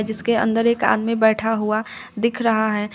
उसके अंदर एक आदमी बैठा हुआ दिख रहा है।